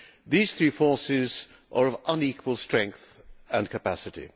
These three forces are of unequal strength and capacity.